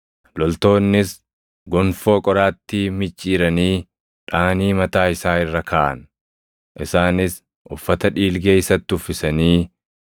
Loltoonnis gonfoo qoraattii micciiranii dhaʼanii mataa isaa irra kaaʼan. Isaanis uffata dhiilgee isatti uffisanii,